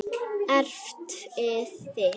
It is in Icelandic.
Erfiði mitt.